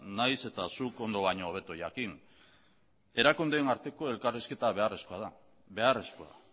nahiz eta zuk ondo baino hobeto jakin erakundeen arteko elkarrizketa beharrezkoa da beharrezkoa